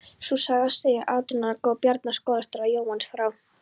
Sú saga segir að átrúnaðargoð Bjarna skólastjóra, Jónas frá